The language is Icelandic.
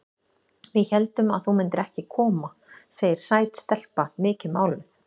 Við héldum að þú myndir ekki koma, segir sæt stelpa, mikið máluð.